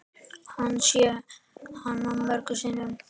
Hann sá hana mörgum sinnum.